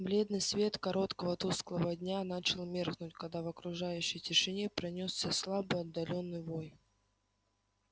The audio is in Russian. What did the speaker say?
бледный свет короткого тусклого дня начал меркнуть когда в окружающей тишине пронёсся слабый отдалённый вой